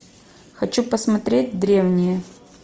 хочу посмотреть древние